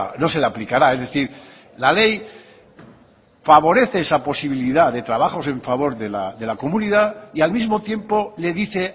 no se le aplicará es decir la ley favorece esa posibilidad de trabajos en favor de la comunidad y al mismo tiempo le dice